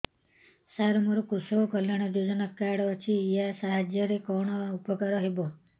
ସାର ମୋର କୃଷକ କଲ୍ୟାଣ ଯୋଜନା କାର୍ଡ ଅଛି ୟା ସାହାଯ୍ୟ ରେ କଣ ଉପକାର ହେବ